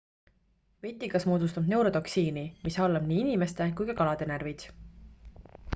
vetikas moodustab neurotoksiini mis halvab nii inimeste kui ka kalade närvid